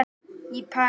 í París.